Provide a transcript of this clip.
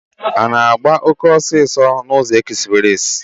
A na-agba oke ọsọ n'ụzọ ekspreesị?